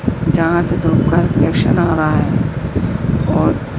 जहां से आ रहा है और--